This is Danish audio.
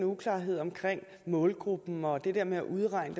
uklarheder omkring målgruppen og det der med at udregne